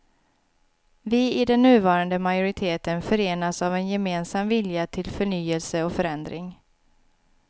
Vi i den nuvarande majoriteten förenas av en gemensam vilja till förnyelse och förändring.